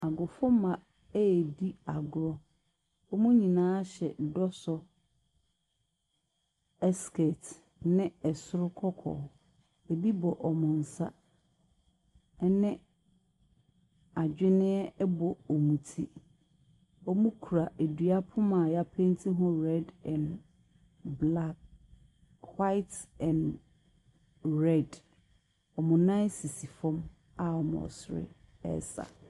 Agofomma redi agorɔ. Wɔn nyinaa hyɛ dɔsɔ skirt ne ɛsoro kɔkɔɔ, ebi bɔ wɔn nsa ne adwenneɛ bɔ wɔn ti. Wɔkura dua poma a yɛapenti ho red and black, white and red. Wɔn nan sisi fam a wɔresere resa.